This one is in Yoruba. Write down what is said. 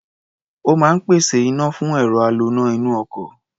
Ó máa ń pèsè iná fún ẹ̀rọ aloná inú ọkọ̀.